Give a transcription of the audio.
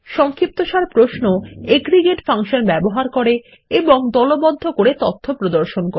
সংক্ষিপ্তসার প্রশ্ন aggregate function ব্যবহার করে এবং দলবদ্ধ করে তথ্য প্রদর্শন করে